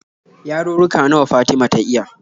Yarurruka nawa Fatima ta iya?